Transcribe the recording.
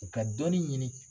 U ka dɔnin ɲini.